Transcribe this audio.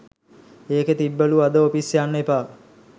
ඒකෙ තිබ්බලු අද ඔෆිස් යන්න එපා